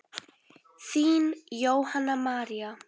Þín Jóhanna María.